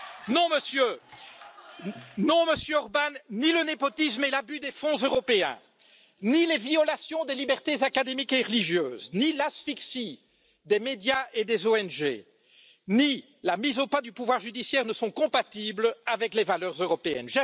Non, Monsieur Orbán, ni le népotisme et l'abus des fonds européens, ni les violations des libertés académiques et religieuses, ni l'asphyxie des médias et des ONG, ni la mise au pas du pouvoir judiciaire ne sont compatibles avec les valeurs européennes.